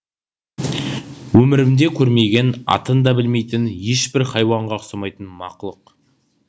өмірімде көрмеген атын да білмейтін ешбір хайуанға ұқсамайтын мақұлық